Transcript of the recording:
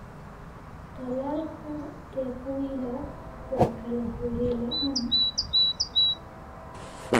Tallaalka tequila waa kalori-la'aan